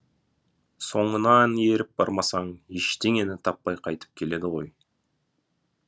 соңынан еріп бармасаң ештеңені таппай қайтып келеді ғой